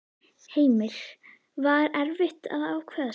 Heimir: Var erfitt að ákveða sig?